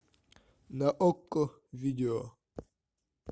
на окко видео